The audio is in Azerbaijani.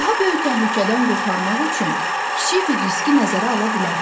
Daha böyük təhlükədən qurtarmaq üçün kiçik bir riski nəzərə ala bilərəm.